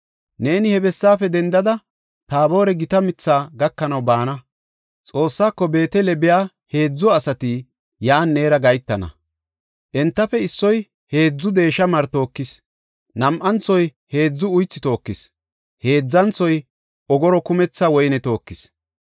Neeni he bessaafe dendada, Taabore gita mithaa gakanaw baana. Xoossaako Beetele biya heedzu asati yan neera gahetana. Entafe issoy heedzu deesha mari tookis; nam7anthoy heedzu uythi tookis; heedzanthoy ogoro kumitha woyne tookis.